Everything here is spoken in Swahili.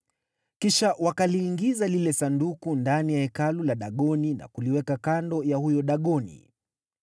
Kisha wakaliingiza lile Sanduku ndani ya hekalu la Dagoni na kuliweka kando ya huyo Dagoni.